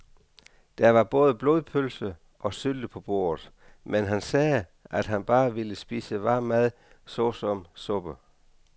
Der var både blodpølse og sylte på bordet, men han sagde, at han bare ville spise varm mad såsom suppe.